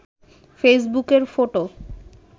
ফেসবুকের ফটো